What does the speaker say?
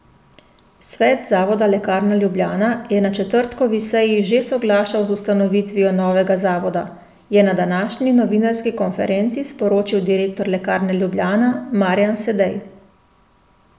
Svet zavoda Lekarna Ljubljana je na četrtkovi seji že soglašal z ustanovitvijo novega zavoda, je na današnji novinarski konferenci sporočil direktor Lekarne Ljubljana Marjan Sedej.